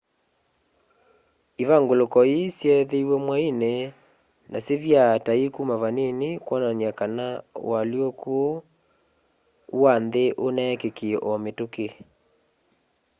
ivanguluko ii syeithiwe mwaini na syivyaa ta ikuma vanini kwonania kana ualyũkũ ũu wa nthi uneekikie o mitũki